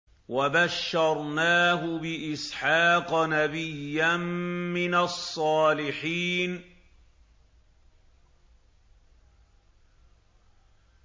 وَبَشَّرْنَاهُ بِإِسْحَاقَ نَبِيًّا مِّنَ الصَّالِحِينَ